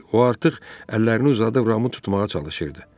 O artıq əllərini uzadıb Ramı tutmağa çalışırdı.